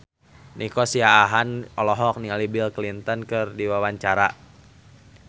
Nico Siahaan olohok ningali Bill Clinton keur diwawancara